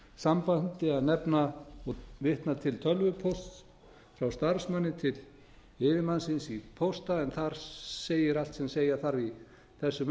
sambandi að nefna og vitna til tölvupósts frá starfsmanni til yfirmanns síns í xxxx en þar segir allt sem segja þarf í þessu